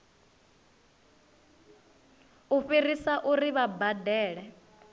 u fhirisa uri vha badele